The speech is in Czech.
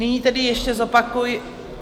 Nyní tedy ještě zopakuji...